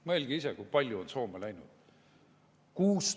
Mõelge ise, kui paljud on Soome läinud!